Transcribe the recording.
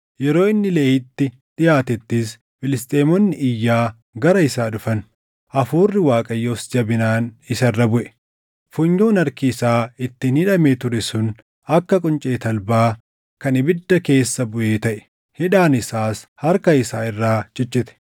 Yeroo inni Lehiitti dhiʼaatettis Filisxeemonni iyyaa gara isaa dhufan. Hafuurri Waaqayyoos jabinaan isa irra buʼe. Funyoon harki isaa ittiin hidhamee ture sun akka quncee talbaa kan ibidda keessa buʼee taʼe; hidhaan isaas harka isaa irraa ciccite.